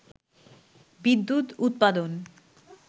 বিদ্যুৎ উৎপাদন